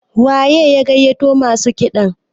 waye ya gaiyato masu kiɗan?